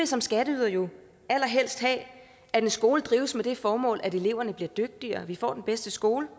som skatteydere allerhelst have at en skole drives med det formål at eleverne bliver dygtigere at vi får den bedste skole